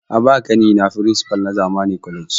A ba wa ƙani na firinsipal na zamani college